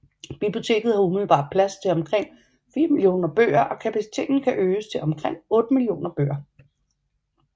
Biblioteket har umiddelbart plads til omkring 4 millioner bøger og kapaciteten kan øges til omkring 8 millioner bøger